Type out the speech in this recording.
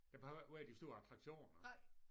Der behøver ikke være de store attraktioner